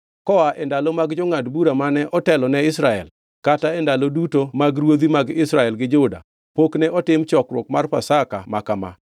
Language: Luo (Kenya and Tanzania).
Koa e ndalo mag jongʼad bura mane otelo ne Israel, kata e ndalo duto mag ruodhi mag Israel gi Juda, pok ne otim chokruok mar Pasaka ma kama.